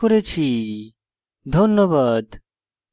ধন্যবাদ